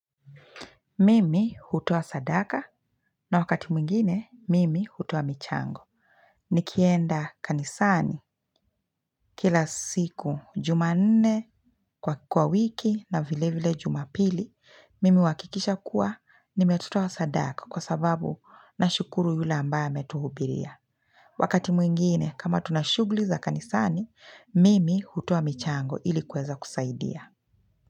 Mimi hutoa sadaka na wakati mwingine mimi hutoa michango. Nikienda kanisani kila siku juma nne kwa kwa wiki na vile vile juma pili, mimi wakikisha kuwa nimetoa sadaka kwa sababu na shukuru yule ambaye ametuhubiria. Wakati mwingine kama tunashugli za kanisani, mimi hutoa michango ilikuweza kusaidia.